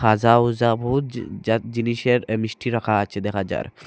ঝিকঝাক জিনিসের মিষ্টি রাখা আছে দেখা যায়।